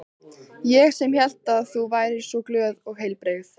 Ég sem hélt að þú væri svo glöð og heilbrigð.